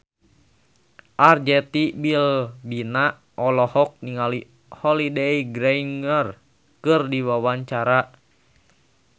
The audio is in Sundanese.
Arzetti Bilbina olohok ningali Holliday Grainger keur diwawancara